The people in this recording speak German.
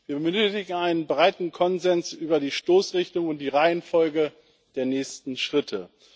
Wir benötigen einen breiten Konsens über die Stoßrichtung und die Reihenfolge der nächsten Schritte.